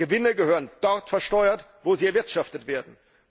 Gewinne gehören dort versteuert, wo sie erwirtschaftet werden.